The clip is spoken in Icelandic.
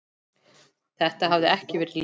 Þetta hafði ekki verið létt.